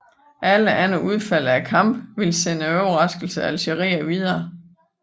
Alle andre udfald af kampen ville sende overraskelsen Algeriet videre